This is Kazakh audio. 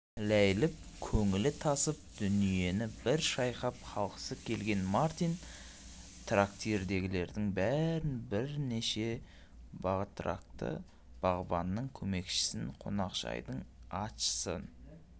ләйліп көңілі тасып дүниені бір шайқап қалғысы келген мартин трактирдегілердің бәрін бірнеше батракты бағбанның көмекшісін қонақжайдың атшысын